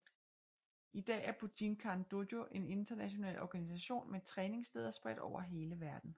I dag er Bujinkan Dojo en international organisation med træningssteder spredt over hele verden